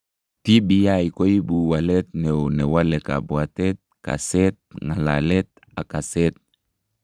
TBI koibu waleet neoo newale kabwatet, kaseet, ng'alalet ak kaseet